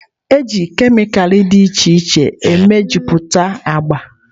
Ejiri kemịkalụ dị iche iche mejupụtara agba.